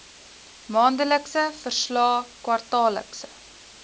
maandelikse verslae kwartaallikse